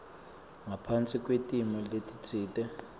ngaphasi kwetimo letitsite